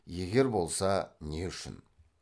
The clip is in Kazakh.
егер болса не үшін